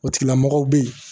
O tigilamɔgɔw bɛ yen